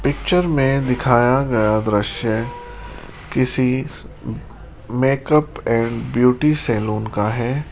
Picture में दिखाया गया दृश्य किसी मेकअप एंड ब्यूटी सैलून का है।